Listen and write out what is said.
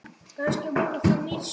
Kannski voru það mistök.